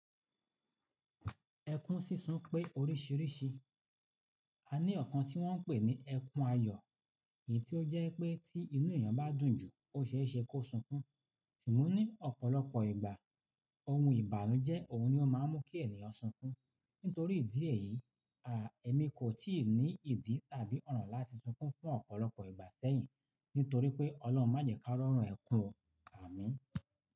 Ẹkún sísun pé oríṣìíríṣìí. A ní ọ̀kan tí wọ́n ń pè ní ẹkún ayọ̀ èyí tí ó jẹ́ pé tí inú èèyàn bá dùn jù, ó ṣeéṣe kó sunkún. Ṣùgbọ́n ní ọ̀pọ̀lọpọ̀ ìgbà ohun ìbànújẹ́ òun ni ó máa ń mú kí ènìyàn sunkún. Nítorí ìdí èyí, èmi kò tíì ní ìdí tàbí ọ̀ràn láti sunkún fún ọ̀pọ̀lọpọ̀ ìgbà sẹ́yìn nítorí pé Ọlọ́run máa jẹ ká rọ́rn ẹkún o àmín.